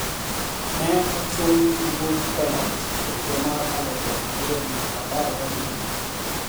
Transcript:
Ne ochun gi wuok e loch e higa mar aluf ariyo gi apar ga abiriyo.